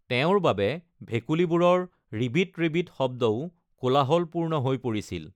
তেওঁৰ বাবে ভেকুলীবোৰৰ ৰিবিট ৰিবিট শব্দও কোলাহলপূৰ্ণ হৈ পৰিছিল।